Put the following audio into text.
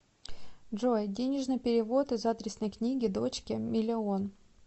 джой денежный перевод из адресной книги дочке миллион